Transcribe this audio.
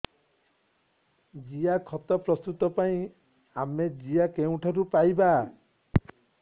ଜିଆଖତ ପ୍ରସ୍ତୁତ ପାଇଁ ଆମେ ଜିଆ କେଉଁଠାରୁ ପାଈବା